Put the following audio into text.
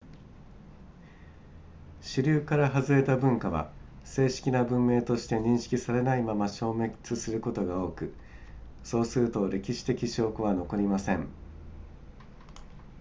主流からはずれた文化は正式な文明として認識されないまま消滅することが多くそうすると歴史的証拠は残りません